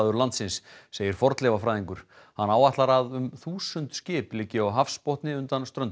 landsins segir fornleifafræðingur hann áætlar að um þúsund skip liggi á hafsbotni undan ströndum